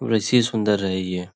वैसे ही सुंदर है ये।